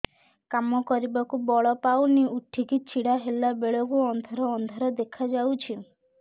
କାମ କରିବାକୁ ବଳ ପାଉନି ଉଠିକି ଛିଡା ହେଲା ବେଳକୁ ଅନ୍ଧାର ଅନ୍ଧାର ଦେଖା ଯାଉଛି